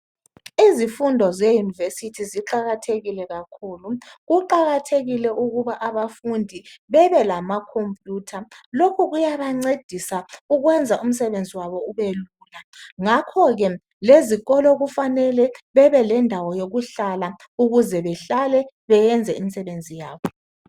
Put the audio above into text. Izifundo zeyunivesithi ziqakathekile kakhulu. Kuqakathekile ukuba abafundi bebelamakhompiyutha. Lokhu kuyabancedisa ukwenza umsebenzi wabo ubelula. Ngakho ke lezikolo kufanele bebelendawo yokuhlala ukuze behlale benze imisebenzi yabo.